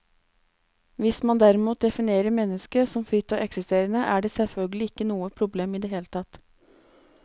Hvis man derimot definerer mennesket som fritt og eksisterende, er det selvfølgelig ikke noe problem i det hele tatt.